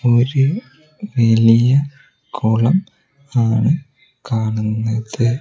ഒരു വലിയ കൊളം ആണ് കാണുന്നത്.